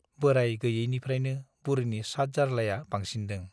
बोराय गैयैनिफ्रायनो बुरिनि सातजार्लाया बांसिनदों ।